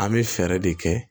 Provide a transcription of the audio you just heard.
An bɛ fɛɛrɛ de kɛ